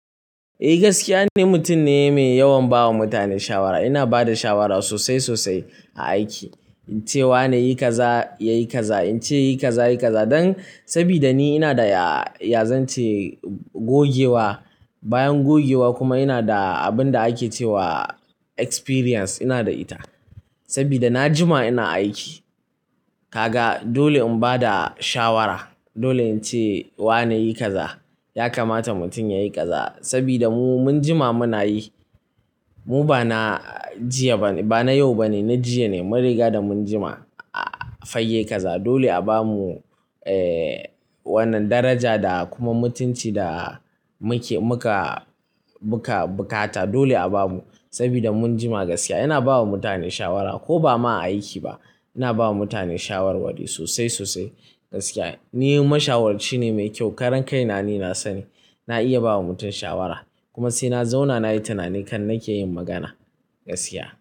Eh gaskiya ne, mutum ne mai yawan bawa mutane shawara. Ina ba da shawara sosai sosai a aiki. In ce wa nayi kaza yayi kaza, in ce yayi kaza yayi kaza dan sabida ni ina da yazan ce gogewa. Bayan gogewa kuma ina da abin da ake cewa experience ina da ita sabida na jima ina aiki. Kaga dole in bada shawara, dole in ce wa nayi kaza, ya kamata mutum yayi kaza sabida mu mun jima muna yi. Mu ba na jiya ba ne, ba na yau ba ne, na jiya ne. Mun riga da mun jima a fayye kaza. Dole a bamu, eh wannan daraja da kuma mutunci da muke, muka, muka buƙata. Dole a bamu sabida mun jima gaskiya. Ina bawa mutane shawara ko ba ma a aiki ba. Ina bawa mutane shawarwari sosai sosai gaskiya. Ni mashawarci ne mai kyau. Karan kai na ni na sani, na iya bawa mutum shawara. Kuma sai na zauna nayi tunani kan nake yin magana gaskiya.